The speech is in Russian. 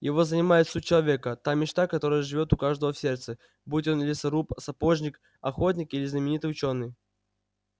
его занимает суть человека та мечта которая живёт у каждого в сердце будь он лесоруб сапожник охотник или знаменитый учёный